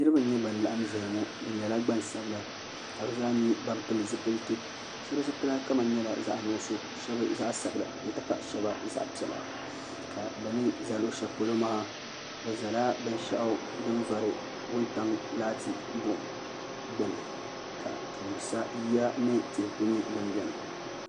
niraba n nyɛ ban laɣam ʒɛya ŋɔ bi nyɛla gbansabila ka bi zaa nyɛ ban pili zipiliti shab zipila kama nyɛla zaɣ nuɣso shab zaɣ sabila n ti pahi zaɣ piɛla ka bi ni ʒɛ luɣu shɛli polo maa bi ʒɛla binshɛli din vori laati buɣum gbuni ka tooni sa yiya ni tihi ku nyɛ din biɛni